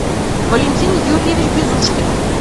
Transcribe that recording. валентин юрьевич безушкин